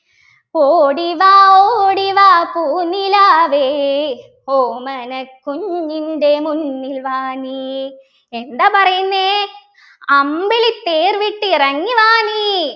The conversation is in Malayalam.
ഓടിവാ ഓടിവാ പൂനിലാവേ ഓമനക്കുഞ്ഞിൻ്റെ മുന്നിൽ വാ നീ എന്താ പറയുന്നെ അമ്പിളിത്തേർ വിട്ടിറങ്ങിവാ നീ